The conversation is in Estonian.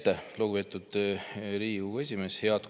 Aitäh, lugupeetud Riigikogu esimees!